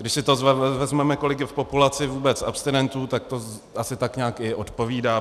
Když si to vezmeme, kolik je v populaci vůbec abstinentů, tak to asi tak nějak i odpovídá.